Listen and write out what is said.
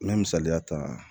N ye misaliya ta